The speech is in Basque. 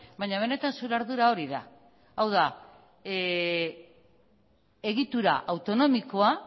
baina benetan zure ardura hori da hau da egitura autonomikoa